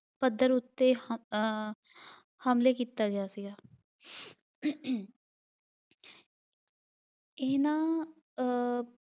ਪੱਧਰ ਉੱਤੇ ਹਮ ਅਹ ਹਮਲੇ ਕੀਤਾ ਗਿਆ ਸੀਗਾ ਇਨ੍ਹਾਂ ਅਹ